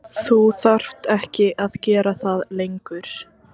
Þú þarft ekki að gera það lengur.